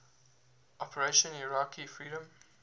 operation iraqi freedom